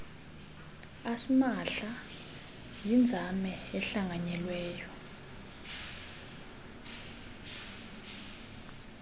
asimahla yinzame ehlanganyelweyo